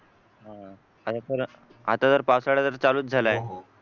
हा तर आता तर पावसाळा तर चालू झाला आहे